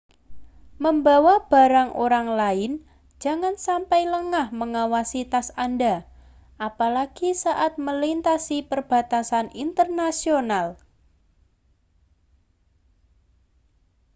membawa barang orang lain jangan sampai lengah mengawasi tas anda apalagi saat melintasi perbatasan internasional